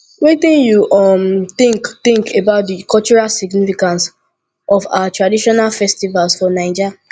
wetin you um think think about di cultural significance of our traditional festivals for naija